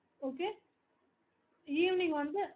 okay evening வந்து